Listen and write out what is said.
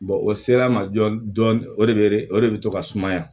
o sera a ma dɔn dɔn o de o de bɛ to ka sumaya